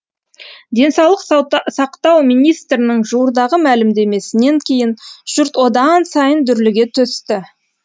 денсаулық сақтау министрінің жуырдағы мәлімдемесінен кейін жұрт одан сайын дүрліге түсті